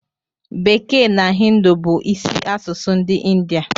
Bekee na Hịndụ bu isi asụsụ ndi india